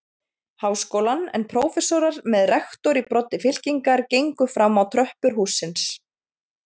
Háskólann, en prófessorar með rektor í broddi fylkingar gengu fram á tröppur hússins.